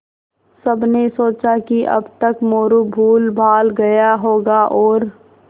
सबने सोचा कि अब तक मोरू भूलभाल गया होगा और